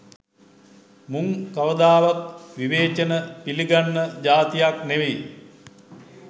මුං කවදාවත් විවේචන පිළිගත්ත ජාතියක් නෙවි.